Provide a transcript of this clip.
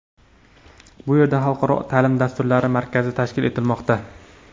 Bu yerda xalqaro ta’lim dasturlari markazi tashkil etilmoqda.